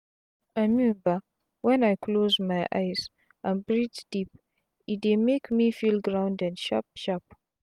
i mean bah wen i close my eyes and breathe deep e dey make me feel grounded sharp sharp.